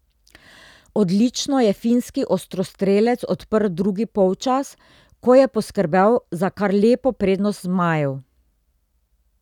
Odlično je finski ostrostrelec odprl drugi polčas, ko je poskrbel za kar lepo prednost zmajev.